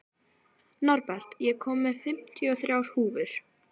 Norbert, ég kom með fimmtíu og þrjár húfur!